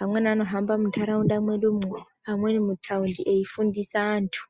amweni ano hamba mundaraunda medu umwo amweni mutaundi eifundise antu.